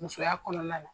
Musoya kɔnɔna na